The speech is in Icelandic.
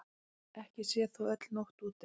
Ekki sé þó öll nótt úti.